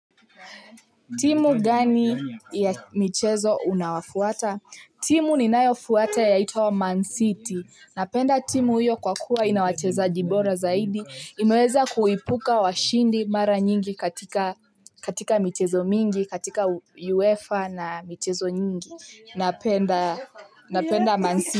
Timu gani ya michezo una wafuwata. Timu ninayo fuata yaitwa Mansiti. Napenda timu iyo kwa kuwa ina wachezaji bora zaidi. Imeweza kuipuka washindi mara nyingi katika michezo mingi, katika UEFA na michezo nyingi. Napenda Mansiti.